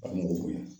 A mɔgɔ bonya